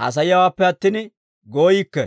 haasayiyaawaappe attin gooyikke.